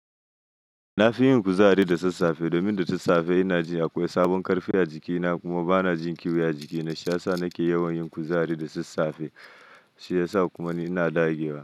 Na fi yin kuzari da sassafe domin da sassafe ina jin akwai sabon karfi a jikina kuma bana jin kiyo a jiki, na sha sa nake yawan yin kuzari da sassafe shiyasa kuma ina da giya.